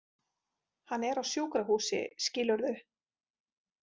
Hann er á sjúkrahúsi skilurðu.